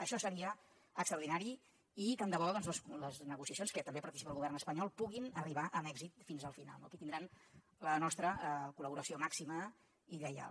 això seria extraordinari i tant de bo doncs les negociacions que també hi participa el govern espanyol puguin arribar amb èxit fins al final no aquí tindran la nostra col·laboració màxima i lleial